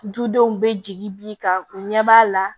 Dudenw bɛ jigi bi kan u ɲɛ b'a la